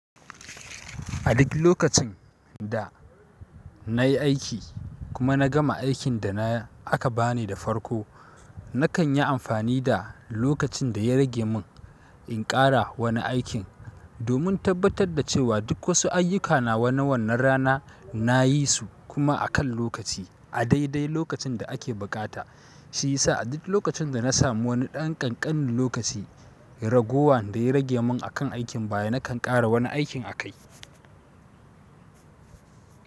A duk lokacin da nayi aiki kuma na gama aikin da aka bani da farko, nakan yi amfani da lokacin da ya rage mun in ƙara wani aikin. Domin tabbatar da cewa duk wasu ayyuka nawa na wannan rana, nayi su kuma akan lokaci a daidai lokacin da ake buƙata. Shi yasa a duk lokacin da na samu wani ɗan ƙanƙanin lokaci, ragowan da ya rage mun akan aikin baya nakan ƙara wani aikin akai.